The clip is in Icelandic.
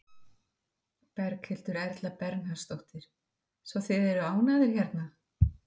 Berghildur Erla Bernharðsdóttur: Svo þið eru ánægðir hérna?